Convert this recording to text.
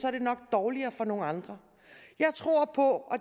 er det nok dårligere for nogle andre jeg tror på